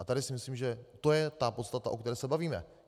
A tady si myslím, že to je ta podstata, o které se bavíme.